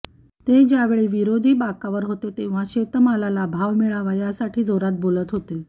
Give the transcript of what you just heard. ते ज्यावेळी विरोधी बाकावर होते तेव्हा शेतमालाला भाव मिळावा यासाठी जोरात बोलत होते